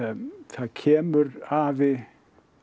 það kemur afi